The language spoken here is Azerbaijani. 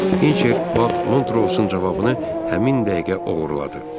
Hinçer Bad Montrose-un cavabını həmin dəqiqə oğurladı.